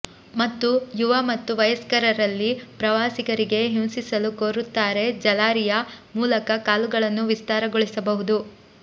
ಮತ್ತು ಯುವ ಮತ್ತು ವಯಸ್ಕರಲ್ಲಿ ಪ್ರವಾಸಿಗರಿಗೆ ಹಿಂಸಿಸಲು ಕೋರುತ್ತಾರೆ ಜಾಲರಿಯ ಮೂಲಕ ಕಾಲುಗಳನ್ನು ವಿಸ್ತಾರಗೊಳಿಸಬಹುದು